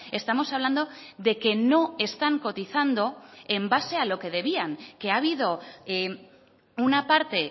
estamos hablando de que no están cotizando en base a lo que debían que ha habido una parte